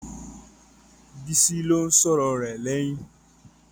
Bísí ló ń sọ̀rọ̀ rẹ lẹ́yìn.